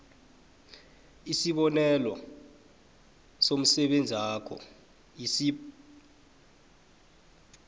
isibonelo somsebenzakho isib